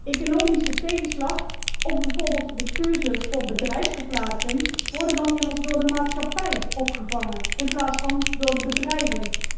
Economische tegenslag of bijvoorbeeld de keuze voor bedrijfsverplaatsing worden dan immers door de maatschappij opgevangen in plaats van door de bedrijven.